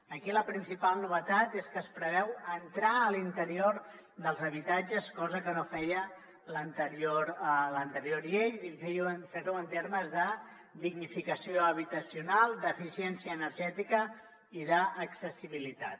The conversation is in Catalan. aquí la principal novetat és que es preveu entrar a l’interior dels habitatges cosa que no feia l’anterior llei i fer ho en termes de dignificació habitacional d’eficiència energètica i d’accessibilitat